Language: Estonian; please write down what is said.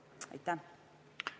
Aitäh!